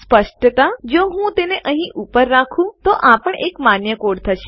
સ્પષ્ટત જો હું તેને અહીં ઉપર રાખું તો આ પણ એક માન્ય કોડ થશે